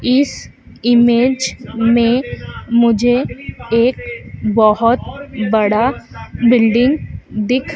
इस इमेज में मुझे एक बहोत बड़ा बिल्डिंग दिख--